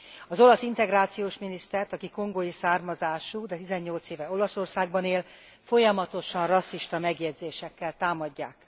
Az olasz integrációs minisztert, aki kongói származású, de 18 éve Olaszországban él, folyamatosan rasszista megjegyzésekkel támadják.